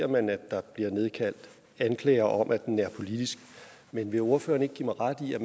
man at der bliver nedkaldt anklager om at den er politisk men vil ordføreren ikke give mig ret i at